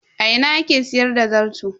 A ina ake siyar da zarto?